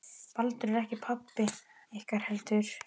Baldur er ekki pabbi ykkar heldur